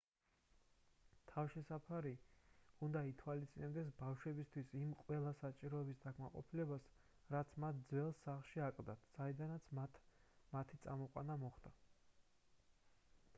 თავშესაფრები უნდა ითვალისწინებდეს ბავშვებისთვის იმ ყველა საჭიროების დაკმაყოფილებას რაც მათ ძველ სახლში აკლდათ საიდანაც მათი წამოყვანა მოხდა